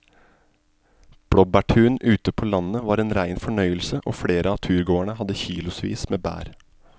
Blåbærturen ute på landet var en rein fornøyelse og flere av turgåerene hadde kilosvis med bær.